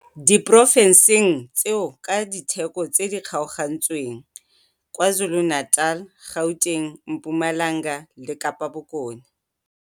diporofenseng tseo ka ditheko tse di kgaogantsweng, KwaZulu-Natal, Gauteng, Mpumalanga le Kapa Bokone.